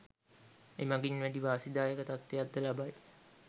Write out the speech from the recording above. එමගින් වැඩි වාසි දායක තත්වයක් ද ලබයි.